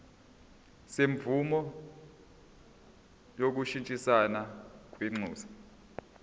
semvume yokushintshisana kwinxusa